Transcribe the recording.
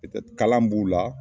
kalan mun b'u la